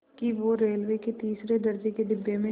कि वो रेलवे के तीसरे दर्ज़े के डिब्बे में